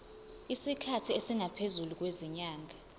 isikhathi esingaphezulu kwezinyanga